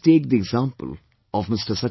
Let us take the example of Mr